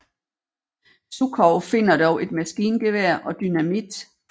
Sukhov finder dog et maskingevær og dynamit